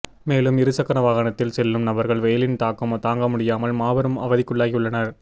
மேலும் இருசக்கர வாகனத்தில் செல்லும் நபர்கள் வெயிலின் தாக்கம் தாங்க முடியாமல் பெரும் அவதிக்குள்ளாகி உள்ளனர்